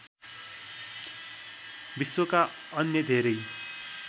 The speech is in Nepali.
विश्वका अन्य धेरै